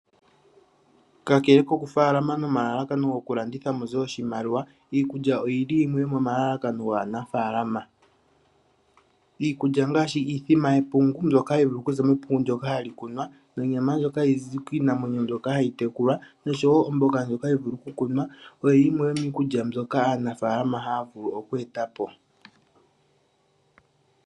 Kakele kokufaalama nomalalakano gokulanditha muze oshimaliwa. Iikulya oyili yimwe yo momalalakano gaanafaalama . Iikulya ngaashi iithima yepungu mbyoka hayi vulu okuza mepungu ndoka hali kunwa, niinima mbyoka hayi zi kiinamwenyo mbyoka hayi tekulwa noshowo omboga mbyoka hayi vulu okukunwa oyo yimwe yomiikulya mbyoka aanafaalama haya vulu oku etapo